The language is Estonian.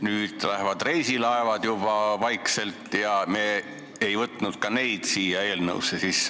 Nüüd lähevad reisilaevad vaikselt ära, aga me ei võtnud neid eelnõusse sisse.